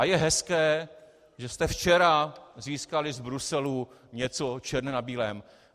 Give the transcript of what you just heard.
A je hezké, že jste včera získali z Bruselu něco černé na bílém.